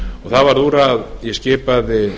það var úr að ég skipaði